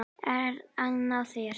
Ert að ná þér.